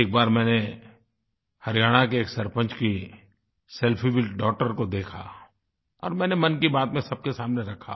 एक बार मैंने हरियाणा के एक सरपंच की सेल्फी विथ डॉगटर को देखा और मैंने मन की बात में सबके सामने रखा